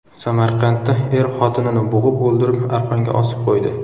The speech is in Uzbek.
Samarqandda er xotinini bo‘g‘ib o‘ldirib, arqonga osib qo‘ydi.